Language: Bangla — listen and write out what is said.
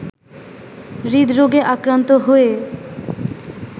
হৃদরোগে আক্রান্ত হয়ে